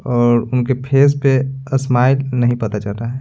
और उनके फेस पे अस्माइल नहीं पता चल रहा है।